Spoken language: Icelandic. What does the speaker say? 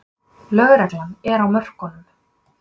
Löglegar en á mörkunum